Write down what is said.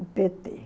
O pê tê